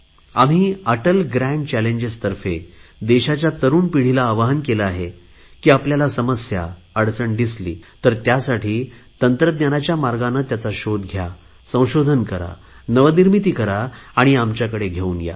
आम्ही अटल ग्रॅन्ड चॅलेजेसतर्फे देशाच्या तरुण पिढीला आवाहन केले आहे की आपल्याला समस्या अडचण दिसली तर त्यासाठी टेक्नॉलॉजीच्या मार्गाने त्याचा शोध घ्या संशोधन करा नवनिर्मिती करा आणि आमच्याकडे घेऊन या